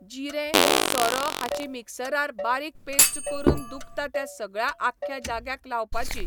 जिरें, सोरो हाची मिक्सरार बारीक पेस्ट करून दुखता त्या सगळ्या आख्ख्या जाग्याक लावपाची.